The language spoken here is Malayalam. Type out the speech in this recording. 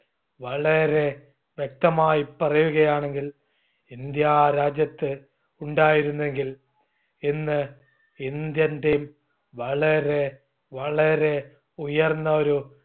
വളരെ വ്യക്തമായി പറയുകയാണെങ്കിൽ ഇന്ത്യ രാജ്യത്ത് ഉണ്ടായിരുന്നെങ്കിൽ ഇന്ന് indian team വളരെ വളരെ ഉയർന്ന ഒരു